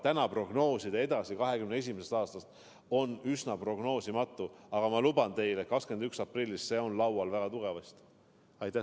Täna prognoosida 2021. aastast kaugemale – see on üsna prognoosimatu, aga ma luban teile, et 21. aprillil on see teema väga tugevasti laual.